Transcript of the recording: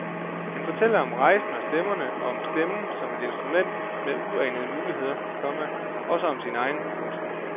Hun fortæller om rejsen og stemmerne og om stemmen som et instrument med uanede muligheder, komma også om sin egen. punktum